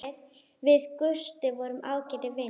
Við Gústi vorum ágætir vinir.